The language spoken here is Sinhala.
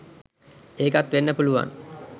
ඒකත් වෙන්න පුළුවන්